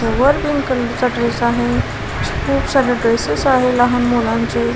वर pink colour चा dress आहे खूप सारे ड्रेसेस आहे लहान मुलांचे.